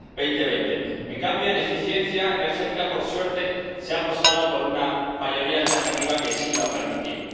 2020. En cambio, en eficiencia energética, por suerte, se ha apostado por una mayoría alternativa que sí lo ha permitido.